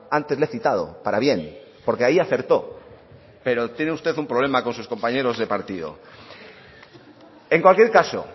antes le he citado para bien porque ahí acertó pero tiene usted un problema con sus compañeros de partido en cualquier caso